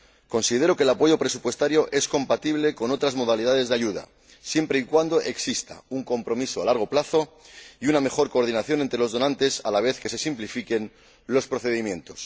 Considero que el apoyo presupuestario es compatible con otras modalidades de ayuda, siempre y cuando exista un compromiso a largo plazo y una mejor coordinación entre los donantes, a la vez que se simplifican los procedimientos.